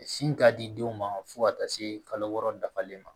Sin ka di denw ma fo ka taa se kalo wɔɔrɔ dafalen ma